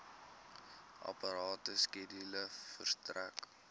aparte skedule verstrek